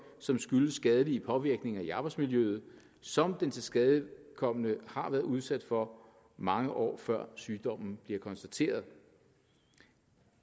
som skyldes skadelige påvirkninger i arbejdsmiljøet som den tilskadekomne har været udsat for mange år før sygdommen bliver konstateret